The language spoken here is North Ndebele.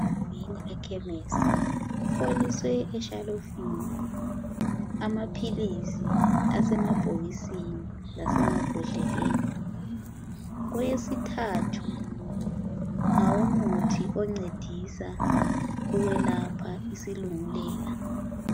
Ngena ekhemisi kufoliswe eshelifini amaphilisi asemabhokisini lasemabhodleleni kweyesithathu ngawomuthi oncedisa ukwelapha isilungelela.